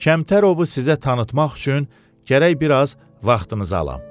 Kəmtərovu sizə tanıtmaq üçün gərək biraz vaxtınızı alam.